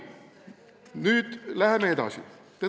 Nüüd läheme edasi.